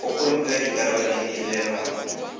go pomipa dikarolo le melawana